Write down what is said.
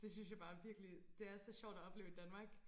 Det synes jeg bare er virkelig det er så sjovt at opleve i Danmark